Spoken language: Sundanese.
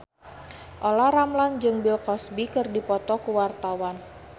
Olla Ramlan jeung Bill Cosby keur dipoto ku wartawan